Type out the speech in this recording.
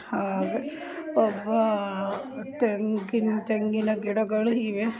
ಅಹ್ ಒಬ್ಬ ತೆಂಗಿನ್ ತೆಂಗಿನ ಗಿಡಗಳು ಇವೆ.